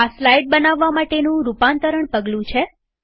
આ સ્લાઈડ બનાવવા માટેનું રૂપાંતરણ પગલું છે